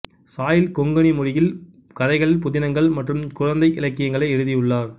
soil Konkani மொழியில் கதைகள் புதினங்கள் மற்றும் குழந்தை இலக்கியங்களை எழுதியுள்ளார்